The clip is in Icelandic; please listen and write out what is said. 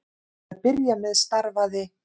Til að byrja með starfaði